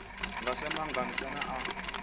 nga sa maga ane a